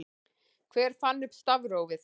Hver fann upp stafrófið?